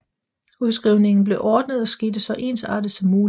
Udskrivningen blev ordnet og skete så ensartet som muligt